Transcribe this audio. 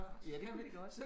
Ja det kunne vi godt